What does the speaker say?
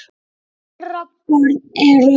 Þeirra börn eru.